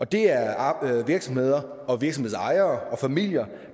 det er virksomheder virksomhedsejere og familier